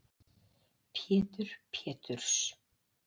Pétur Péturs